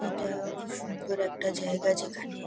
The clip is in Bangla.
এটা খুব সুন্দর একটা জায়গা যেখানে--